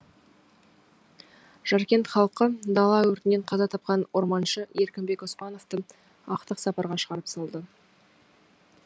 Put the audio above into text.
жаркент халқы дала өртінен қаза тапқан орманшы еркінбек оспановты ақтық сапарға шығарып салды